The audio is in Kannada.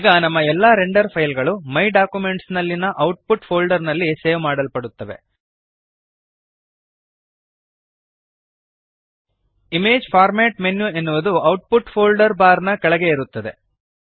ಈಗ ನಮ್ಮ ಎಲ್ಲ ರೆಂಡರ್ ಫೈಲ್ ಗಳು ಮೈ ಡಾಕ್ಯುಮೆಂಟ್ಸ್ ನಲ್ಲಿಯ ಔಟ್ಪುಟ್ ಫೋಲ್ಡರ್ ನಲ್ಲಿ ಸೇವ್ ಮಾಡಲ್ಪಡುತ್ತವೆ ಇಮೇಜ್ ಫಾರ್ಮ್ಯಾಟ್ ಮೆನ್ಯು ಎನ್ನುವುದು ಔಟ್ಪುಟ್ ಫೋಲ್ಡರ್ ಬಾರ್ ನ ಕೆಳಗೆ ಇರುತ್ತದೆ